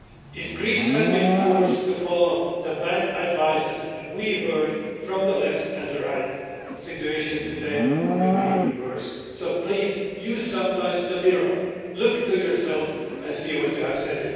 If Greece had been forced to follow the bad advice we heard from the left and the right, the situation today would be even worse. So please, use the mirror sometimes in future, look to yourself and see what you have said.